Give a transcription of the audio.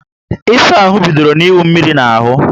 Ịsa ahụ bidoro na iwu mmírí na ahú